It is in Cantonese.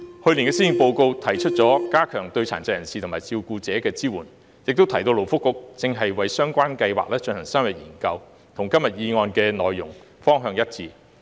去年的施政報告提出了加強對殘疾人士及其照顧者的支援，亦提到勞工及福利局正為相關計劃進行深入研究，與今天議案的內容和方向一致。